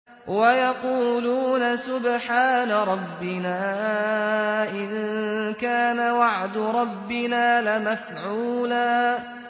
وَيَقُولُونَ سُبْحَانَ رَبِّنَا إِن كَانَ وَعْدُ رَبِّنَا لَمَفْعُولًا